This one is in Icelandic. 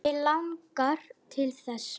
Mig langar til þess.